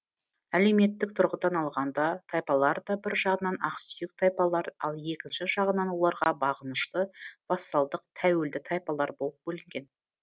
әлеуметтік тұрғыдан алғанда тайпалар да бір жағынан ақсүйек тайпалар ал екінші жағынан оларға бағынышты вассалдық тәуелді тайпалар болып бөлінген